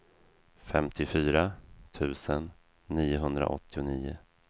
femtiofyra tusen niohundraåttionio